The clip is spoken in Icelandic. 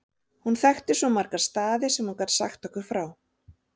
Hún þekkti svo marga staði sem hún gat sagt okkur frá.